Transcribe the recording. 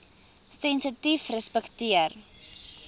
sensitiefrespekteer